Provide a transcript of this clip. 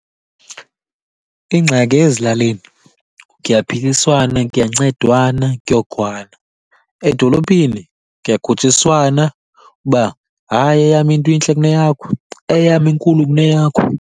Ingxaki ezilalini kuyaphiliswana, kuyancedwana, kuyokhwana. Edolophini kuyakhutshiswana, uba hayi eyam into intle kuneyakho, eyam inkulu kuneyakho.